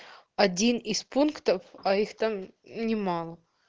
один из пунктов а их там немало